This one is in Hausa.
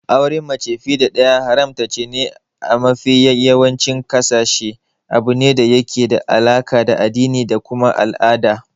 Auren mace fiye da ɗaya haramtaccene a mafi yawancin ƙasashe, abune da yake da alaka da addini da kuma al'ada.